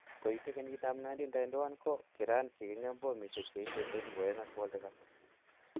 Koite kenyit ap 1991 ko kiran keng'em bomisiek cheite 2700.